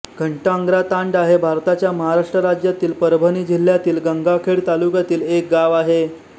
घटांग्रातांडा हे भारताच्या महाराष्ट्र राज्यातील परभणी जिल्ह्यातील गंगाखेड तालुक्यातील एक गाव आहे